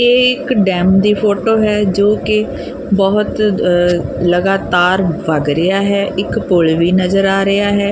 ਇਹ ਇੱਕ ਡੈਮ ਦੀ ਫੋਟੋ ਹੈ ਜੋਕਿ ਬਹੁਤ ਲਗਾਤਾਰ ਭਗ ਰਿਹਾ ਹੈ ਇੱਕ ਪੁੱਲ ਵੀ ਨਜ਼ਰ ਆ ਰਿਹਾ ਹੈ।